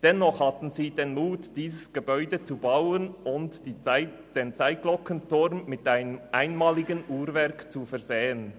Dennoch hatten sie den Mut, dieses Gebäude zu bauen und den Zeitglockenturm mit einem einmaligen Uhrwerk zu versehen.